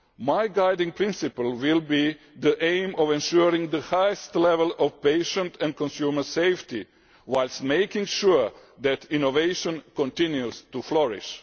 My guiding principle will be the aim of ensuring the highest level of patient and consumer safety, whilst making sure that innovation continues to flourish.